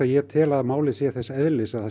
ég tel málið þess eðlis að það